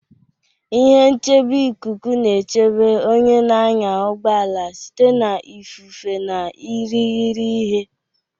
Ihe nchebe ikuku na-echebe onye na-anya ụgbọ ala site na ifufe na irighiri ihe.